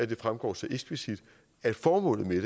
det fremgår så eksplicit at formålet med